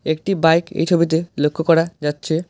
একটি বাইক এই ছবিতে লক্ষ্য করা যাচ্ছে।